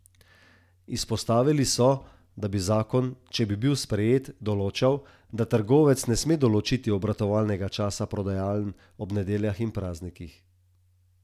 Izpostavili so, da bi zakon, če bi bil sprejet, določal, da trgovec ne sme določiti obratovalnega časa prodajaln ob nedeljah in praznikih.